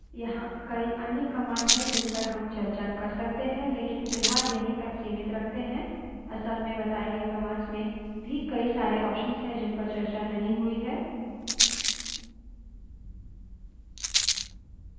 यहाँ कई अन्य commands हैं जिनपर हम चर्चा कर सकते हैं लेकिन फिलहाल यहीं तक सीमित रखते हैं असल में बताए गए commands में भी कई सारे options हैं जिनपर चर्चा नहीं हुई है